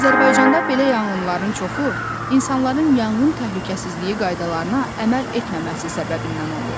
Azərbaycanda belə yanğınların çoxu insanların yanğın təhlükəsizliyi qaydalarına əməl etməməsi səbəbindən olur.